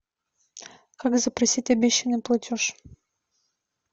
как запросить обещанный платеж